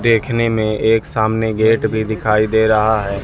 देखने में एक सामने गेट भी दिखाई दे रहा है।